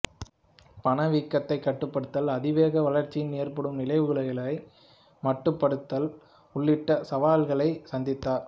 பணவீக்கத்தைக் கட்டுப்படுத்தல் அதிவேக வளர்ச்சியினால் ஏற்படும் நிலைகுலைவுகளை மட்டுப்படுத்தல் உள்ளிட்ட சவால்களை சந்தித்தார்